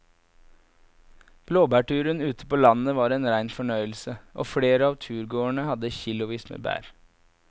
Blåbærturen ute på landet var en rein fornøyelse og flere av turgåerene hadde kilosvis med bær.